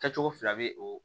Kɛcogo fila bɛ o